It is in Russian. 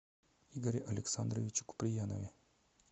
игоре александровиче куприянове